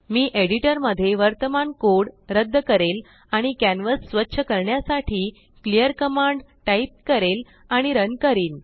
मी एडिटरमध्ये वर्तमान कोड रद्द करेल आणिकॅनवास स्वच्छ करण्यासाठी क्लिअर कमांड टाईप करेल आणि रन करीन